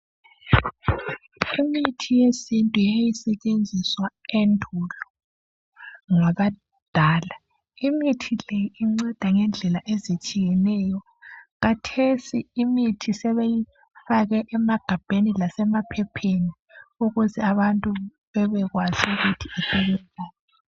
Imithi yesintu yayi setshenziswa endulo ngabadala imithi leyi isetshenziswa ngendlela ezihlukeneyo khathesi imithi sebeyifake emagabheni lasema phepheninukuze abantu bebekwazi ukuthi usebenzani.